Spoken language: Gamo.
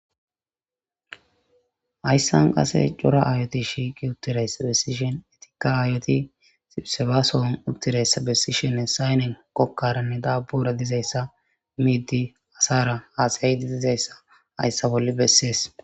hayssan qase cora aayoti shiiqi uttirayssa bessishen etikka aayoti siserfasoon uttirayssa bessishenne saynen kokkaranne daabbura dizayssa miidi asara haasayaydi dizayssa hayssa bolli bessees